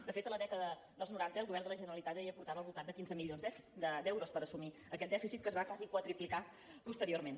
de fet a la dècada dels noranta el govern de la generalitat ja hi aportava al voltant de quinze milions d’euros per assumir aquest dèficit que es va quasi quadruplicar posteriorment